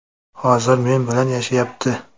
Hozir men bilan yashayapti.